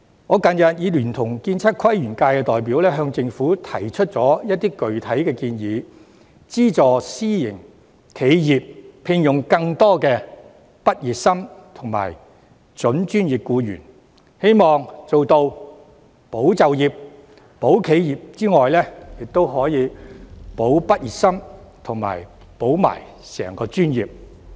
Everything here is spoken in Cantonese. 我近日已聯同建測規園界的代表向政府提出一些具體建議，包括資助私營企業聘用更多畢業生及準專業僱員，希望在做到"保就業，撐企業"之餘，亦可以做到"保畢業生，保專業"。